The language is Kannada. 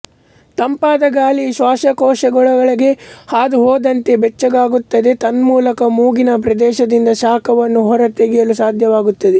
ತಂಪಾದ ಗಾಳಿಯು ಶ್ವಾಸಕೋಶಗಳೊಳಗೆ ಹಾದುಹೋದಂತೆ ಬೆಚ್ಚಗಾಗುತ್ತದೆ ತನ್ಮೂಲಕ ಮೂಗಿನ ಪ್ರದೇಶದಿಂದ ಶಾಖವನ್ನು ಹೊರತೆಗೆಯಲು ಸಾಧ್ಯವಾಗುತ್ತದೆ